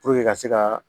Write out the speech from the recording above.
ka se ka